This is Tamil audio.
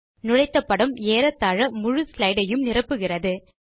நுழைத்த படம் ஏறத்தாழ முழு ஸ்லைடு ஐயும் நிரப்புகிறது